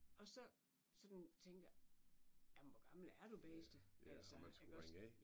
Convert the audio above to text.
Og så sådan tænker jamen hvor gammel er du bedste altså iggås